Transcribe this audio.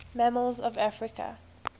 mammals of africa